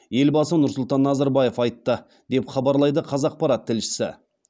елбасы нұрсұлтан назарбаев айтты деп хабарлайды қазақпарат тілшісі